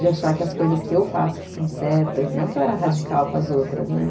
De achar que as coisas que eu faço que são certas, não que eu era radical com as outras, né?